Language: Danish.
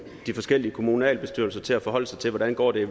de forskellige kommunalbestyrelser til at forholde sig til hvordan det går i